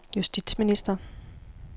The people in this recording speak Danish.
justitsminister